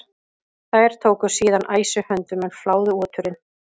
Þeir tóku síðan æsi höndum en fláðu oturinn.